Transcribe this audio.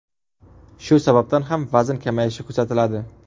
Shu sababdan ham vazn kamayishi kuzatiladi.